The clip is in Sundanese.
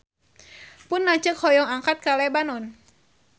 Pun lanceuk hoyong angkat ka Lebanon